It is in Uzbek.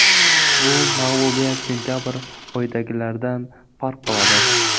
Bu mag‘lubiyat sentabr oyidagilaridan farq qiladi.